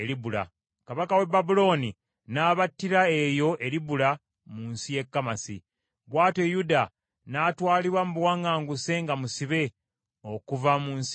Kabaka w’e Babulooni n’abattira eyo e Libula, mu nsi y’e Kamasi. Bw’atyo Yuda n’atwalibwa mu buwaŋŋanguse nga musibe, okuva mu nsi ye.